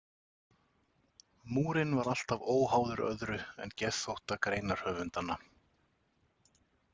Múrinn var alltaf óháður öðru en geðþótta greinarhöfundanna.